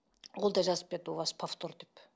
ол да жазып берді у вас повтор деп